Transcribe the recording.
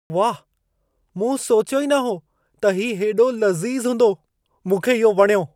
वाह! मूं सोचियो ई न हो त हीउ हेॾो लज़ीज़ हूंदो। मूंखे इहो वणियो।